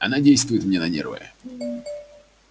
она действует мне на нервы